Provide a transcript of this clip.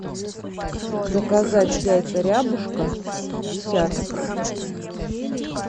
заказать яйца рябушка десяток